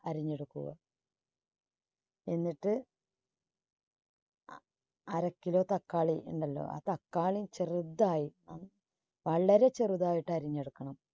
അരിഞ്ഞെടുക്കുക. എന്നിട്ട് അ~അര kilo തക്കാളി ഉണ്ടല്ലോ ആ തക്കാളി ചെറുതായി വളരെ ചെറുതായിട്ട് അരിഞ്ഞെടുക്കണം.